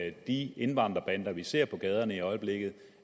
af de indvandrerbander vi ser på gaderne i øjeblikket